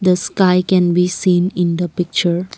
the sky can be seen in the picture.